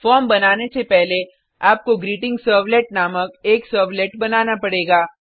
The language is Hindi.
फॉर्म बनाने से पहले आपको ग्रीटिंगसर्वलेट नामक एक सर्वलेट बनाना पड़ेगा